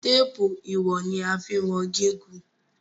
Téèpù iwọn ni a fín wón gígùn.